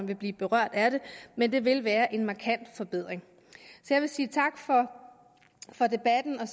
vil blive berørt af det men det vil være en markant forbedring jeg vil sige tak for debatten og